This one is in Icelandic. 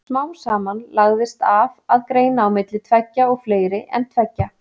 Smám saman lagðist af að greina á milli tveggja og fleiri en tveggja.